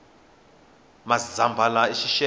mazambhala i xixevo